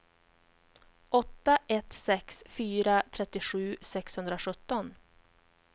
åtta ett sex fyra trettiosju sexhundrasjutton